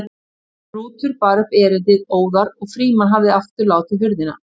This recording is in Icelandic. Rútur bar upp erindið óðar og Frímann hafði látið aftur hurðina en